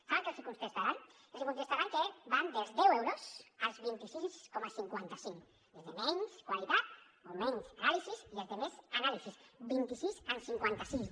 saben què els contestaran els contestaran que van dels deu euros als vint sis coma cinquanta cinc els de menys qualitat o menys anàlisis i els de més anàlisis vint sis amb cinquanta cinc